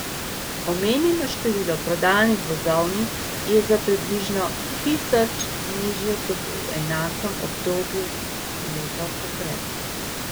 Omenjeno število prodanih vozovnic je za približno tisoč nižje kot v enakem obdobju leto poprej.